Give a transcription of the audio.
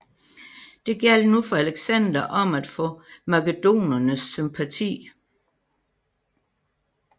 Det gjaldt nu for Alexander om at få makedonernes sympati